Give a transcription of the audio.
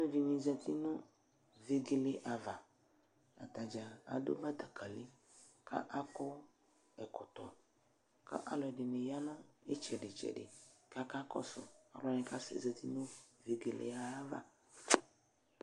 uvi dɩnɩ zati nʊ vegele ava, atadza adʊ betekeli, kʊ akɔ ɛkɔtɔ, kʊ aluɛdɩnɩ ya nʊ itsɛdɩ kakakɔsu alʊwani zati nʊ vegele yɛ ava